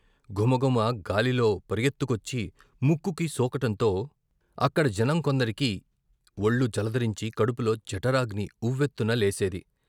ఘుమఘుమ గాలిలో పరుగెత్తుకొచ్చి ముక్కుకు సోకటంతో అక్కడ జనం కొందరికి ఒళ్ళు జలదరించి కడుపులో జఠరాగ్ని ఉవ్వెత్తున లేసేది.